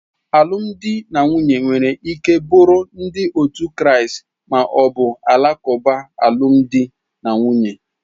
Alụmdi na nwunye nwere ike bụrụ ndi otu Kraist ma ọ bụ Alakuba alụmdi na nwunye.